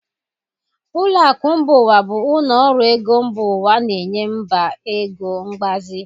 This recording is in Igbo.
Ụlọ akụ mba ụwa bụ ụlọ ọrụ ego mba ụwa na-enye mba ego mgbazi.